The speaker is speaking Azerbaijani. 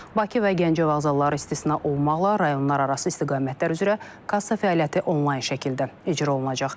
Bakı və Gəncə vağzalları istisna olmaqla rayonlararası istiqamətlər üzrə kassa fəaliyyəti onlayn şəkildə icra olunacaq.